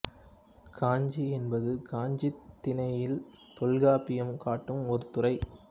காஞ்சி என்பது காஞ்சித் திணையில் தொல்காப்பியம் காட்டும் ஒரு துறை